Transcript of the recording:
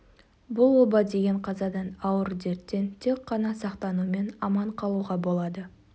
бұл оба деген қазадан ауыр дерттен тек қана сақтанумен аман қалуға болады